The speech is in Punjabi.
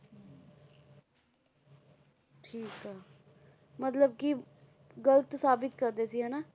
ਠੀਕ ਆ, ਮਤਲਬ ਕਿ ਗ਼ਲਤ ਸਾਬਿਤ ਕਰਦੇ ਸੀ ਹਨਾ,